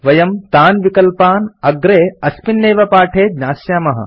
वयं तान् विकल्पान् अग्रे अस्मिन् एव पाठे ज्ञास्यामः